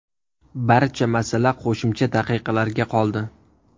Barcha masala qo‘shimcha daqiqalarga qoldi.